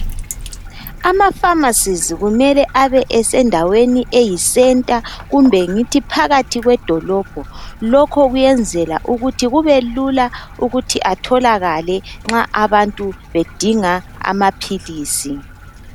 Amafamasizi kumele abesendaweni eyi centa kumbe ngithi phakathi kwedolobho lokho ukwenzela ukuthi kube lula ukuthi atholakale nxa abantu bedinga amaphilisi.